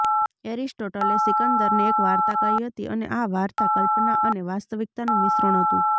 એરિસ્ટોટલે સિકંદરને એક વાર્તા કહી હતી અને આ વાર્તા કલ્પના અને વાસ્તવિકતાનું મિશ્રણ હતું